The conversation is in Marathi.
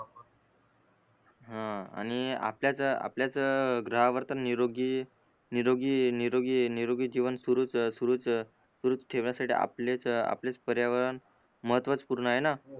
ह आणि आपल्याच आपल्याच ग्रहावर तर निरोगी निरोगी निरोगी निरोगी जीवन सुरूच सुरूच सुरूच ठेवासाठी आपलेच आपलेच पर्यावरण महत्वचपूर्ण आहे न